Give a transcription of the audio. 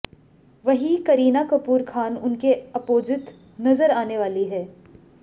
वहीं करीना कपूर खान उनके अपोजित नजर आने वाली हैं